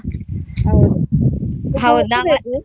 ಹೌದು .